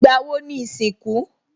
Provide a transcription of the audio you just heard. Ìgbà wo ni ìsìnkú?